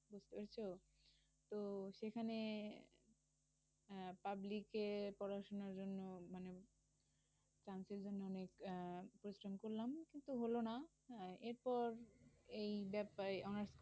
ঐতো তো সেখানে আহ public এ পড়াশোনার জন্য মানে chance এর জন্য অনেক আহ পরিশ্রম করলাম কিন্তু হলো না। এরপর এই ব্যাপারে honours